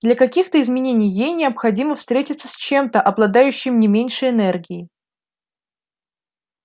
для каких-то изменений ей необходимо встретиться с чем-то обладающим не меньшей энергией